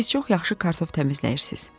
Siz çox yaxşı kartof təmizləyirsiz.